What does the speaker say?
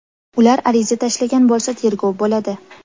Ular ariza tashlagan bo‘lsa tergov bo‘ladi.